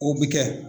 O bɛ kɛ